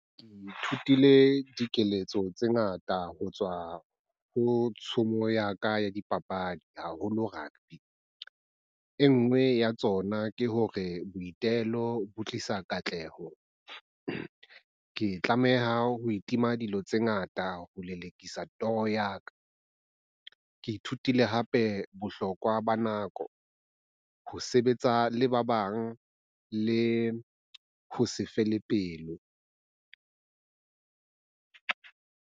Ke ithutile dikeletso tse ngata ho tswa ho tshomo ya ka ya dipapadi haholo rugby. E nngwe ya tsona ke hore boitelo bo tlisa katleho. Ke tlameha ho itima dilo tse ngata ho lelekisa toro ya ka. Ke ithutile hape bohlokwa ba nako, ho sebetsa le ba bang, le ho se fele pelo.